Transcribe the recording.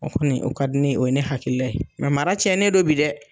O kɔni o ka di ne ye, o ye ne hakili la ye mara cɛnnen don bi dɛ